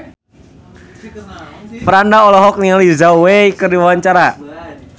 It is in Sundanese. Franda olohok ningali Zhao Wei keur diwawancara